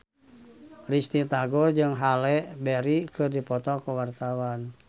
Risty Tagor jeung Halle Berry keur dipoto ku wartawan